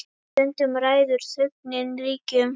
Stundum ræður þögnin ríkjum.